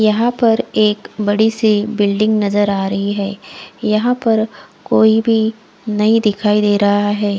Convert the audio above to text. यहा पर एक बड़ी सी बिल्डिंग नजर आ रही है यहा पर कोई भी नही दिखाई दे रहा है।